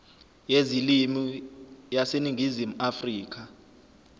yezilimi yaseningizimu afrika